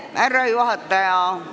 Härra juhataja!